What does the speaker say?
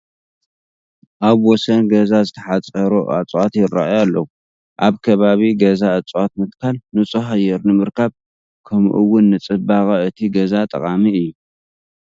ኣብ ወሰን ገዛ ዝተሓፀሩ እፅዋት ይርአዩ ኣለዉ፡፡ ኣብ ከባቢ ገዛ እፅዋት ምትካል ንፁህ ኣየር ንምርካብ ከምኡን ንፅባቐ እቲ ገዛ ጠቓሚ እዩ፡፡